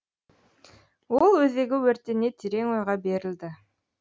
ол өзегі өртене терең ойға берілді